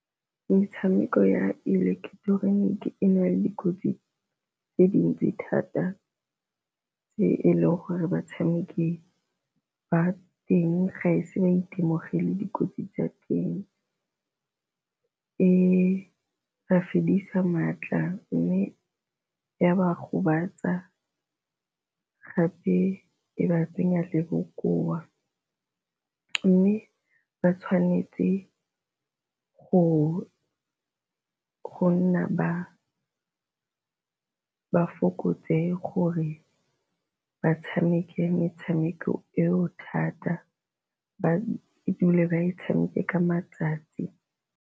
Metshameko ya ileketeroniki e na le dikotsi tse dintsi thata tse e leng gore batshameki ba teng ga e se ba itemogele dikotsi tsa teng e ba fedisa maatla, mme ya ba gobatsa gape e ba tsenya le bokoa. Mme ba tshwanetse go nna ba ba fokotse gore ba tshameke metshameko eo thata ba dule ba e tshameke ka matsatsi.